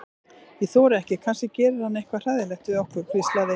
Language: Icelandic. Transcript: Ég þori ekki, kannski gerir hann eitthvað hræðilegt við okkur. hvíslaði